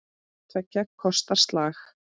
Hvort tveggja kostar slag.